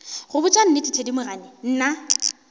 go botša nnete thedimogane nna